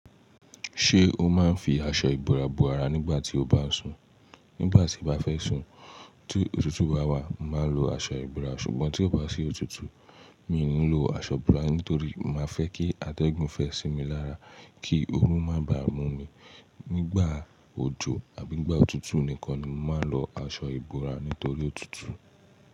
Ṣé o máa ń fi aṣọ ìbora bo ara nígbà tí o bá ń sùn? Nígbà tí mo bá fẹ́ sùn, ti òtútù bá wà, màá lo aṣọ ìbora. Ṣùgbọ́n tí ó bá ṣí òtútù, mi ò ní lo aṣọ ìbora nítorí màá fẹ́ kí adẹ́gùn fẹ́ sí mi lára kí ooru má bàa mú mi. Nígbà òjò àbí nígbà òtútù nìkan ni mó máa ń lo aṣọ ìbora nítorí òtútù.